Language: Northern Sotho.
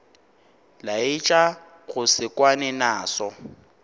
laetša go se kwane naso